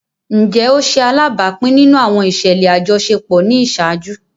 Njẹ o ṣe alabapin nínú àwọn iṣẹlẹ ajọṣepọ ni iṣaaju?